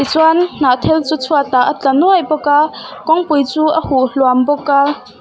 tichuan hnah thel chu chhuat ah a tla nuai bawk a kawngpui chu a huh hluam bawk a.